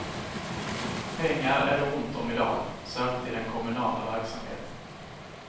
Pengar är det ont om idag, särskilt i den kommunala verksamheten.